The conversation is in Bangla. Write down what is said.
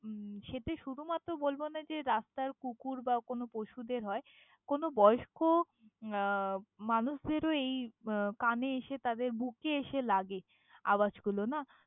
উম সেতে শুধুমাত্র বলব না যে, রাস্তার কুকুর বা কোনো পশুদের হয়। কোনো বয়স্ক আহ মানুষদেরও এই উম কানে এসে তাদের, বুকে এসে লাগে আওয়াজগুলো না!